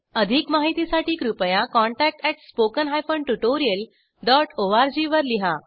अधिक माहितीसाठी कृपया contact at spoken hyphen tutorial dot O R G वर लिहा